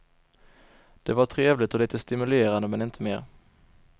Det var trevligt och lite stimulerande men inte mer.